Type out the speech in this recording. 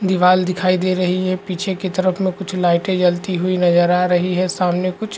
दीवाल दिखाई दे रही है पीछे की तरफ में कुछ लाइटे जलती हुई नजर आ रही है सामने कुछ --